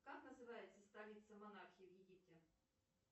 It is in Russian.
как называется столица монархии в египте